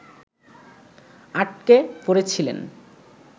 আটকে পড়েছিলেন